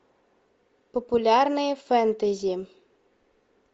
популярные фэнтези